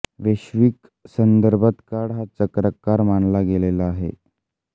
वैश्विक संदर्भात काळ हा चक्राकार मानला गेलेला आहे